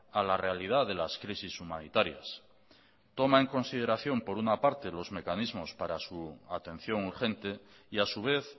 a la realidad de las crisis humanitarias toma en consideración por una parte los mecanismos para su atención urgente y a su vez